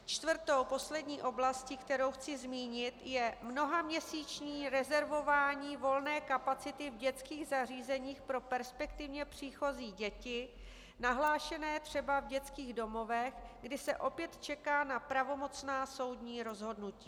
Čtvrtou, poslední oblastí, kterou chci zmínit, je mnohaměsíční rezervování volné kapacity v dětských zařízeních pro perspektivně příchozí děti nahlášené třeba v dětských domovech, kdy se opět čeká na pravomocná soudní rozhodnutí.